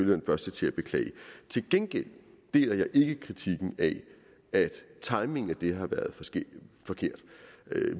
den første til at beklage til gengæld deler jeg ikke kritikken af at timingen af det har været forkert